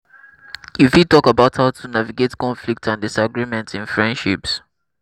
empathy and understanding dey help help us connect with odas on deeper level and build stronger friendships.